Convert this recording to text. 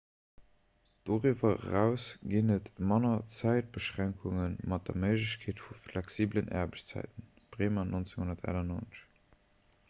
doriwwer eraus ginn et manner zäitbeschränkunge mat der méiglechkeet vu flexibelen aarbechtszäiten. bremer 1998